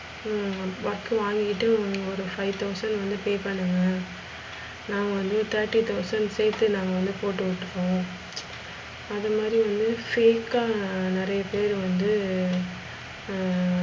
ஹம் work வாங்கிகிட்டு ஒரு five thousands வந்து pay பண்ணுங்க. நாங்க வந்து thirty thousands சேத்தே நாங்க வந்து போட்டு விட்டோம். அது மாதிரி வந்து fake அ நிறைய பேர் வந்து, ஹம்